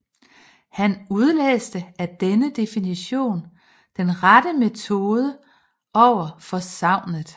Han udlæste af denne definition den rette metode over for sagnet